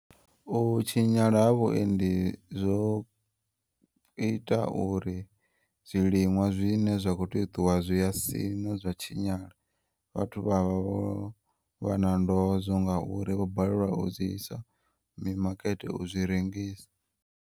U tshinyala ha vhuendi zwo ita uri zwiliṅwa zwine zwa kho tea uṱuwa zwiya siṋa zwa tshinyala vhathu vha vha vhana ndozwo ngauri vho balelwa u zwi isa mimakete u zwi rengisa.